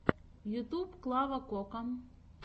ютюб клава кока